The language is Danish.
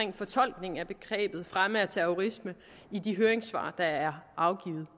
fortolkningen af begrebet fremme af terrorisme i de høringssvar der er afgivet